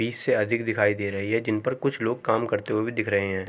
बिस से अधिक दिखाई दे रही है जिनपर कुछ लोग काम करते हुए भी दिख रहे हैं।